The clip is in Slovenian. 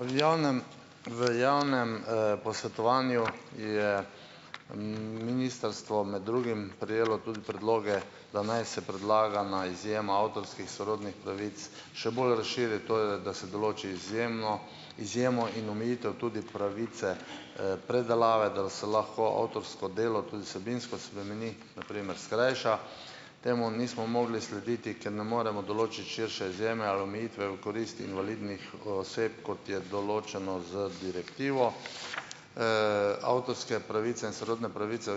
V javnem ... V javnem, posvetovanju je, ministrstvo med drugim prejelo tudi predloge, da naj se predlagana izjema avtorskih sorodnih pravic še bolj razširi, to je, da se določi izjemno izjemo in omejitev tudi pravice, predelave, da se lahko avtorsko delo tudi vsebinsko spremeni, na primer skrajša. Temu nismo mogli slediti, ker ne moremo določiti širše izjeme ali omejitve v korist invalidnih oseb, kot je določeno z direktivo. Avtorske pravice in sorodne pravice,